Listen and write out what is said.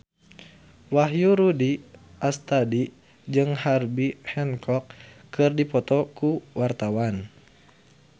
Wahyu Rudi Astadi jeung Herbie Hancock keur dipoto ku wartawan